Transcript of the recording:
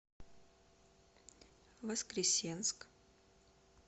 воскресенск